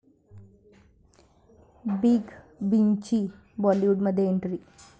big बींची हॉलिवूडमध्ये entry